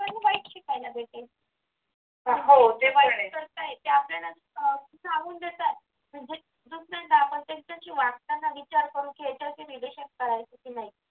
वाईट शिकायला भेटेल त्याला सांगून देतात त्यांच्याशी वाटताना विचार करून येते की relation करायचे की नाही